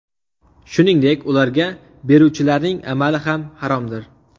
Shuningdek, ularga beruvchilarning amali ham haromdir.